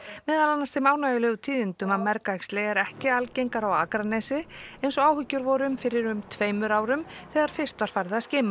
meðal annars þeim ánægjulegu tíðindum að mergæxli er ekki algengara á Akranesi eins og áhyggjur voru um fyrir um tveimur árum þegar fyrst var farið að skima